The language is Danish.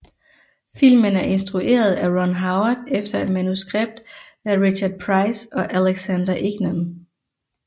Filmen er instrueret af Ron Howard efter et manuskript af Richard Price og Alexander Ignon